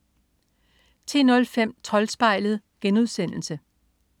10.05 Troldspejlet*